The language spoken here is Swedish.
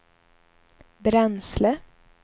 bränsle